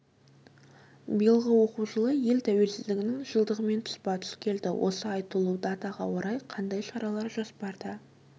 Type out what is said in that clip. биылғы оқу жылы ел тәуелсіздігінің жылдығымен тұспа тұс келді осы айтулы датаға орай қандай шаралар жоспарда